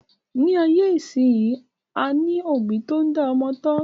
Ní ayé ìsínyi, a ní òbí tó n dá ọmọ tọ́